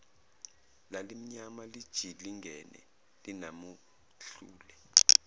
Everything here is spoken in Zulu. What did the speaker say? lalimnyama lijilingene linamahlule